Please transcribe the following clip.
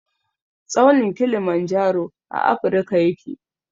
Tsaunin kilimanjaro a afirka yake.